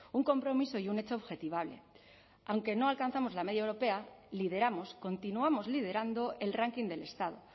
un compromiso y un hecho objetivable aunque no alcanzamos la media europea lideramos continuamos liderando el ranking del estado